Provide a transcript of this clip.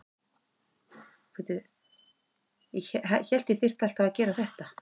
Síðustu tvö ár hefur knattspyrnustjórinn hér borið ábyrgð á öllu.